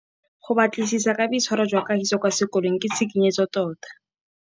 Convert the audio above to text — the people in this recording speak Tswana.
Go batlisisa ka boitshwaro jwa Kagiso kwa sekolong ke tshikinyêgô tota.